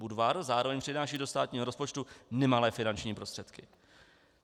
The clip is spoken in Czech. Budvar zároveň přináší do státního rozpočtu nemalé finanční prostředky.